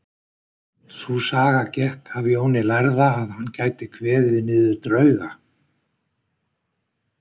Sú saga gekk af Jóni lærða að hann gæti kveðið niður drauga.